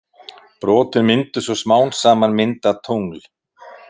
Brotin myndu svo smám saman mynda tungl.